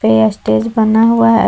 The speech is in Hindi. यह स्टेज बना हुआ है।